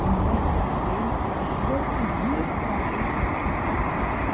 Como é que ele vai conseguir que o adulto aprenda.